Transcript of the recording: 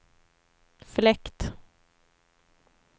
fläkt